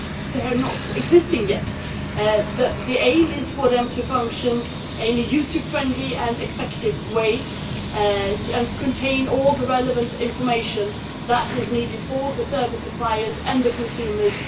Well, they do not exist yet, but the aim is for them to function in a user friendly and effective way and to contain all the relevant information that is needed, both by the service suppliers and by consumers.